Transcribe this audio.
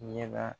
Ɲɛna